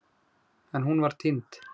En hún var týnd.